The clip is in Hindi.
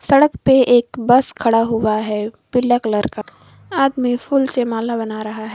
सड़क पे एक बस खड़ा हुआ है पीले कलर का आदमी फुल से माला बना रहा है।